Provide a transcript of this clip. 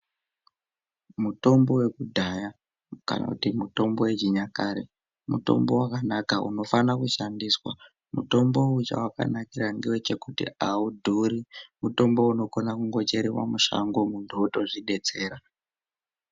Mutombo wekudhaya kana kuti mutombo yechinyakare mutombo wakanaka unofana kushandiswa mutombo uyu chawakanakira ndechekuti audhuri mutombo anokone njerwa mushango muntu otozvidetsera.